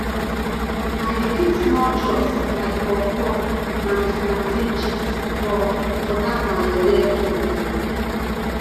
i dey keep small chops like puffpuff and plantain chips for for dat my yeye frend